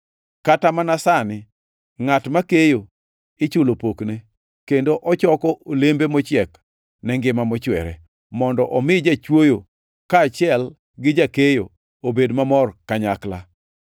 Kata mana sani ngʼat ma keyo ichulo pokne, kendo ochoko olembe mochiek ne ngima mochwere, mondo omi jachwoyo, kaachiel gi jakeyo, obed mamor kanyakla.